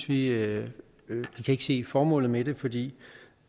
vi ikke ikke se formålet med det fordi